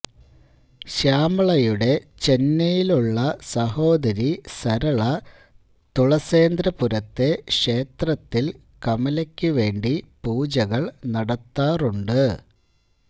ശ്യാമളയുടെ ചെന്നൈയിലുള്ള സഹോദരി സരള തുളസേന്ദ്രപുരത്തെ ക്ഷേത്രത്തിൽ കമലയ്ക്കുവേണ്ടി പൂജകൾ നടത്താറുണ്ട്